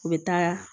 U bɛ taa